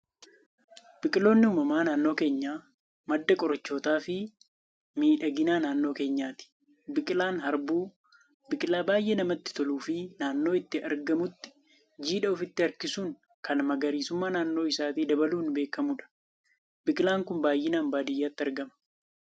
Biqiloonni uumamaa naannoo keenyaa, madda qorichootaa fi miidhagina naannoo keenyaati. Biqilaan Harbuu, biqilaa baayyee namatti toluu fi naannoo itti argamutti jiidha ofitti harkisuun kan magariisummaa naannoo isaatti dabaluun beekamudha. Biqilaan Kun baayyinaan baadiyyaatti argama.